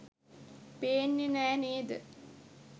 පේන්නේ නෑ නේද?